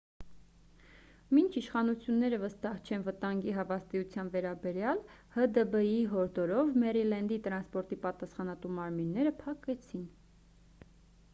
մինչ իշխանությունները վստահ չեն վտանգի հավաստիության վերաբերյալ հդբ-ի հորդորով մերիլենդի տրանսպորտի պատասխանատու մարմինները փակեցին